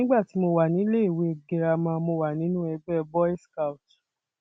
nígbà tí mo wà níléèwé girama mo wà nínú ẹgbẹ boys scout